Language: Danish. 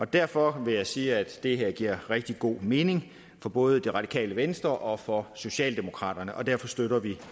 derfor vil jeg sige at det her giver rigtig god mening for både det radikale venstre og for socialdemokraterne og derfor støtter vi